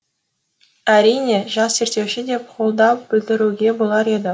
әрине жас зерттеуші деп қолдау білдіруге болар еді